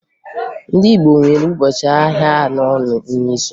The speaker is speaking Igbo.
Ndị Igbo nwere ụbọchị ahịa anọ n'izu